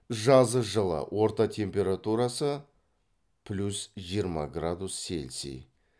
жазы жылы орта температурасы плюс жиырма градус селси